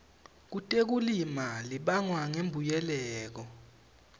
kutekulima libangwa ngulembuyekelo